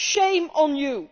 Shame on you!